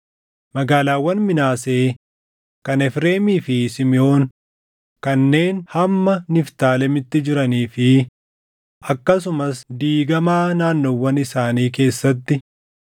Magaalaawwan Minaasee, kan Efreemii fi Simiʼoon kanneen hamma Niftaalemitti jiranii fi akkasumas diigamaa naannoowwan isaanii keessatti